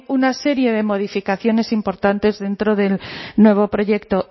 una serie de modificaciones importantes dentro del nuevo proyecto